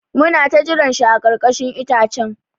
Mu na ta jiran shi a ƙarkashin itacen.